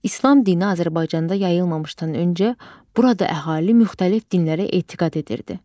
İslam dini Azərbaycanda yayılmamışdan öncə, burada əhali müxtəlif dinlərə etiqad edirdi.